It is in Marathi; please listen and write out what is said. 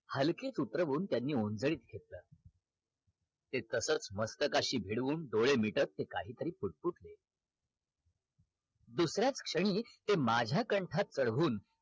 हलके सूत्र होऊन त्यांनी ओंझळीत घेतल ते तसच मास्तकाशी भिडवून डोळे मिटवत ते काही तरी पुटपुटले दुसर्याच क्षणी ते माझ्या कंठात कडवहून